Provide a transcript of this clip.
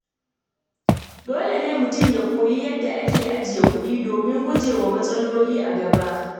Dole ne mutum ya koyi yadda ake ajiyar kuɗi domin gujewa matsaloli a gaba.